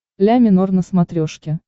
ля минор на смотрешке